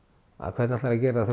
hvernig ætlarðu að gera það